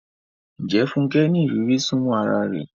Ṣé Funke ní ìrírí súnmọ́ ara rẹ̀?